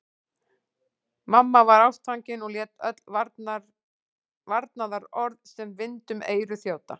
Mamma var ástfangin og lét öll varnaðarorð sem vind um eyru þjóta.